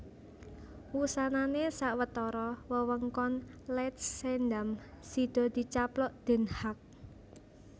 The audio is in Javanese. Wusanané sawetara wewengkon Leidschendam sida dicaplok Den Haag